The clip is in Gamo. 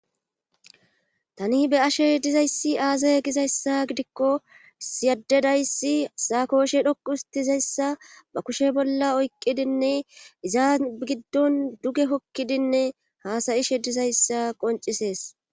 Tani be ashe dizayssi aasaye gizayssa gidikko siyaddedayssi saakooshe dhoqu ustizayssa ba kushe bolla oyqqidinne izaa giddon duge kokkidinne haasayishe dizayssa qoncisees